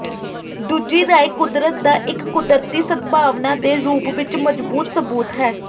ਦੂਜੀ ਰਾਏ ਕੁਦਰਤ ਦਾ ਇੱਕ ਕੁਦਰਤੀ ਸਦਭਾਵਨਾ ਦੇ ਰੂਪ ਵਿਚ ਮਜ਼ਬੂਤ ਸਬੂਤ ਹੈ